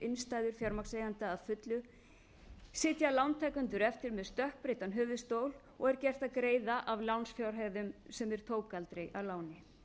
innstæður fjármagnseigenda að fullu sitja lántakendur eftir með stökkbreyttan höfuðstól og er gert að greiða af lánsfjárhæðum sem þeir tóku aldrei að láni